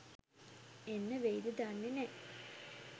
එන්න වෙයිද දන්නෙ නෑ